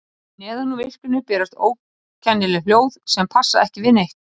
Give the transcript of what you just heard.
Neðan úr myrkrinu berast ókennileg hljóð sem passa ekki við neitt.